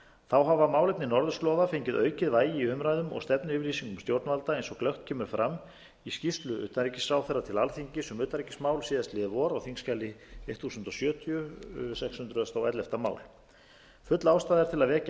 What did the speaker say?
þá hafa málefni norðurslóða fengið aukið vægi í umræðum og stefnuyfirlýsingu stjórnvalda eins og glöggt kemur fram í skýrslu utanríkisráðherra til alþingis um utanríkismál síðastliðið vor á þingskjali þúsund sjötíu sex hundruð og ellefta mál full ástæða er til að vekja